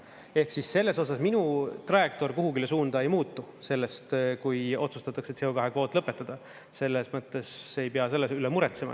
Ehk siis selles osas minu trajektoor kuhugile suunda ei muutu sellest, kui otsustatakse CO2 kvoot lõpetada, selles mõttes ei pea selle üle muretsema.